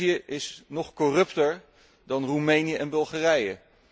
Servië is nog corrupter dan Roemenië en Bulgarije.